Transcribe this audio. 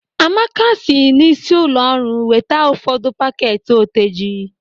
Amaka si n'isi ụlọ ọrụ weta ụfọdụ pakeeti oteji.